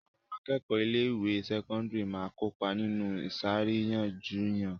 Àwọn akẹ́kọ̀ọ́ ilé-ìwé sẹ́kọ́ndárì máa ń kópa nínú ìṣàríyànjiyàn.